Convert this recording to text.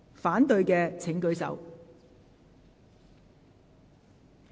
反對的請舉手。